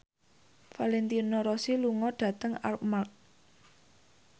Valentino Rossi lunga dhateng Armargh